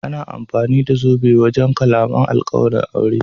Ana amfani da zobe wajen kamalan alkawalin aure.